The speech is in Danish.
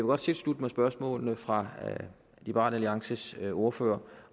godt tilslutte mig spørgsmålene fra liberal alliances ordfører